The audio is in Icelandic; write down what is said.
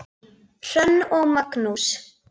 Hrönn og Magnús.